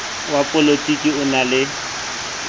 wa polotiki o na le